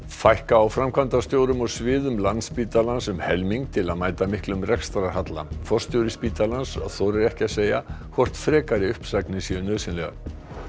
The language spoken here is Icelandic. fækka á framkvæmdastjórum og sviðum Landspítalans um helming til að mæta miklum rekstrarhalla forstjóri spítalans þorir ekki að segja hvort frekari uppsagnir séu nauðsynlegar